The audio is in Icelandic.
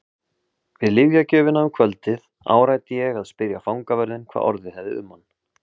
Við lyfjagjöfina um kvöldið áræddi ég að spyrja fangavörðinn hvað orðið hefði um hann.